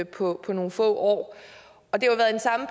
på nogle få år og det